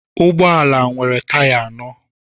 Ụgbọ ala nwere taya anọ